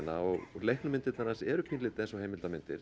og leiknu myndirnar hans eru pínulítið eins og heimildarmyndir